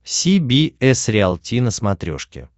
си би эс риалти на смотрешке